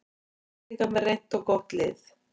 Íslendingar með reynt og gott lið